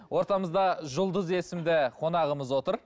ортамызда жұлдыз есімді қонағымыз отыр